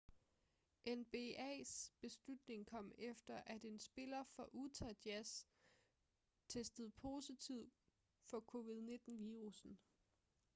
nbas beslutning kom efter at en spiller for utah jazz testede positiv for covid-19 virussen